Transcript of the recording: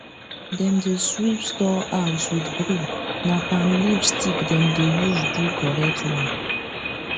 dem dey sweep store house with broom na palm leaf stick dem dey use do correct one